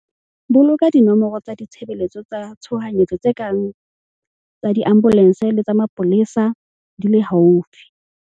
Boloka dinomoro tsa ditshebeletso tsa tshohanyetso tse kang tsa diambolense le tsa mapolesa di le haufi.